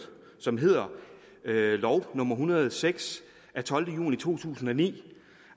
som hedder lov nummer en hundrede og seks af tolvte juni to tusind og ni